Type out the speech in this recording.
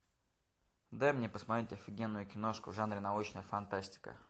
дай мне посмотреть офигенную киношку в жанре научная фантастика